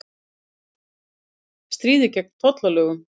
Slíkt stríði gegn tollalögum